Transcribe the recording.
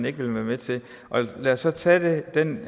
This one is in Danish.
ikke vil være med til og lad os så tage den